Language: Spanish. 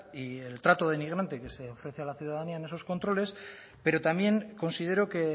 y el trato denigrante que se ofrece a la ciudadanía en esos controles pero también considero que